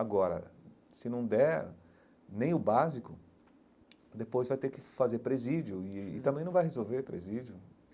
Agora, se não der nem o básico, depois vai ter que fazer presídio e e também não vai resolver presídio.